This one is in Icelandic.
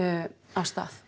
af stað